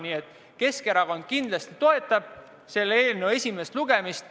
Nii et Keskerakond kindlasti toetab selle eelnõu menetluse jätkamist.